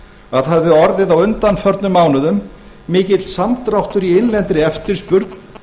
að það hefði orðið á undanförnum mánuðum mikill samdráttur í innlendri eftirspurn